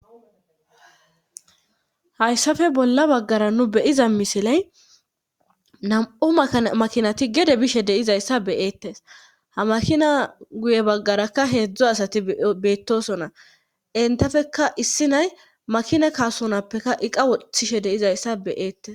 Hayssafe bolla baggara nu beyiza misiley nam'o makinati gede bishe deizayssa beyeetes ha makina guye baggarakka heedzdzo asati beettosona entafeka issi nay makina kaasonappekka iqa wothishe deyizayssa beyeettes.